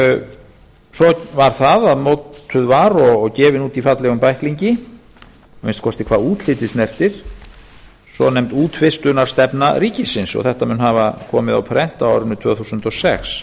svo var það að mótuð var og gefin út í fallegum bæklingi að minnsta kosti hvað útlitið snertir svonefnda útvistunarstefna ríkisins og þetta mun hafa komið á prent á árinu tvö þúsund og sex